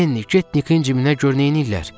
Lenni, get Nikin cibinə gör neyniyirlər?